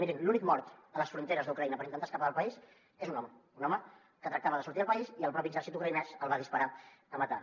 mirin l’únic mort a les fronteres d’ucraïna per intentar escapar del país és un home un home que tractava de sortir del país i el propi exèrcit ucraïnès li va disparar a matar